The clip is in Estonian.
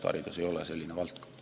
Haridus ei ole selline valdkond.